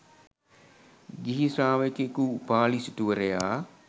ගිහි ශ්‍රාවකයෙකු වූ උපාලි සිටුවරයා